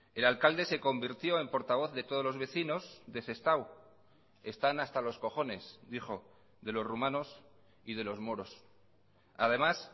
el alcalde se convirtió en portavoz de todos los vecinos de sestao están hasta los cojones dijo de los rumanos y de los moros además